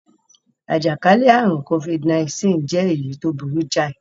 Àjàkálẹ̀ àrùn Covid-19 jẹ́ èyí tó burú jáì.